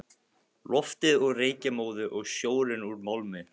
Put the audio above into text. Loftið úr reykjarmóðu og sjórinn úr málmi.